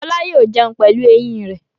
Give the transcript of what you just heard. Fọlá yóò jẹun pẹ̀lú eyín rẹ̀.